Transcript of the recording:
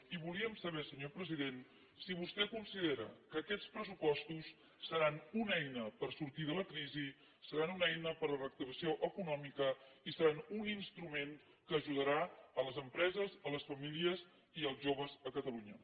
i volíem saber senyor president si vostè considera que aquests pressupostos seran una eina per sortir de la crisi seran una eina per a la reactivació econòmica i seran un instrument que ajudarà les empreses les famílies i els joves a catalunya